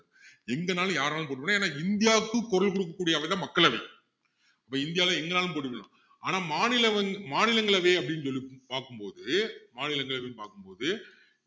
எங்கன்னாலும் யாருன்னாலும் போட்டி போடலாம் ஏன்னா இந்தியாவுக்கு குரல் கொடுக்ககூடிய அவை தான் மக்களவை இப்போ இந்தியாவுல எங்கனாலும் போட்டி போடலாம் ஆனா மாநிலவைங்க்~மாநிலங்களவை அப்படின்னு சொல்லி பாக்கும் போது மாநிலங்களவைன்னு பாக்கும் போது